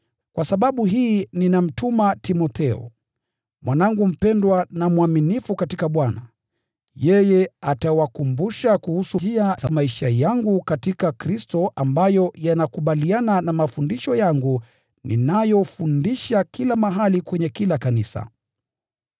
Kwa sababu hii ninamtuma Timotheo, mwanangu mpendwa na mwaminifu katika Bwana. Yeye atawakumbusha kuhusu njia za maisha yangu katika Kristo Yesu, ambayo yanakubaliana na mafundisho yangu ninayofundisha katika kila kanisa.